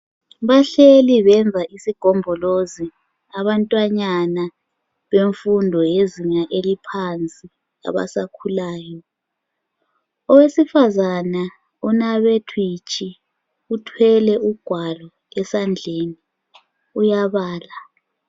Bahleli benza isigombolozi abantwanyana bemfundo yezinga eliphansi abasakhulayo. Owesifazana onabe thwitshi ,uthwele ugwalo esandleni uyabala.